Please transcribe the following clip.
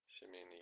семейный